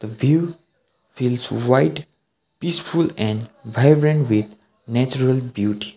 the view feels white peaceful and vibrant with natural beauty.